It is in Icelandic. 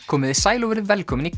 komiði sæl og verið velkomin í